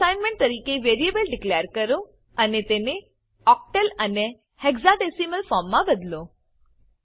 assignment તરીકે variable declare કરો અને તેને ઓક્ટલ અને હેક્સાડેસિમલ ફોર્મ મા બદલો